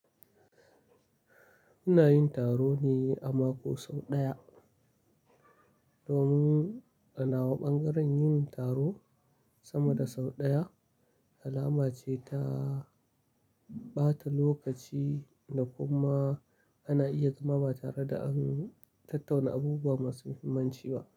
Muna yin taro ne a mako sau ɗaya domin anawa ɓangaren yin taro sama da sau ɗaya alama ce ta ɓata lokaci da kuma ana iya zama ba tare da an tattauna abubuwa masu muhimmanci ba.